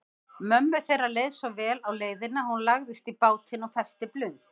Mömmu þeirra leið svo vel á leiðinni að hún lagðist í bátinn og festi blund.